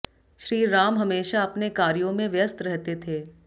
श्री राम हमेशा अपने कार्यों में व्यस्त रहते थे